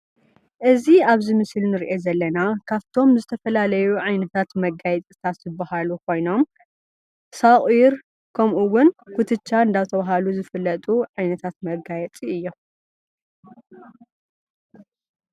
እዚ ኣብዚ ምስሊ ንርኦ ዘለና ካፍቶም ዝተፈላላዩ ዓይነታት መጋየፅታት ዝበሃሉ ኮይኖም ሱቊር ከምኡ እውን ኩትቻ እንዳተባህለ ዝፍለጡ ዓይነታት መጋየፂ እዮም።